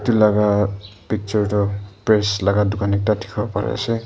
etu laga picture tu press laga dukan ekta dikhibo par ase.